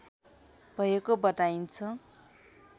भएको बताइन्छ